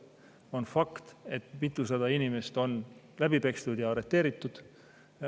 On fakt, et mitusada inimest on läbi pekstud ja arreteeritud.